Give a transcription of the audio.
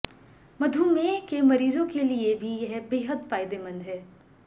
मधुमेह के मरीजों के लिए भी यह बेहद फायदेमंद है